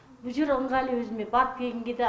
бұ жер ыңғайлы өзіме барып келгенге де